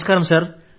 నమస్కారం సార్